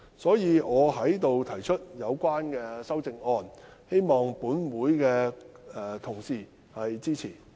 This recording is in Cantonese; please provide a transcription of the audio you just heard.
所以，我就此提出修正案，希望本會的同事支持。